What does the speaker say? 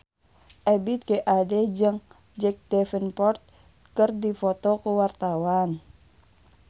Ebith G. Ade jeung Jack Davenport keur dipoto ku wartawan